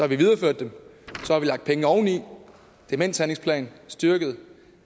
vi videreført dem så har vi lagt penge oveni demenshandlingsplan styrket